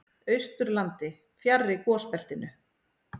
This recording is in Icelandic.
Austurlandi, fjarri gosbeltinu.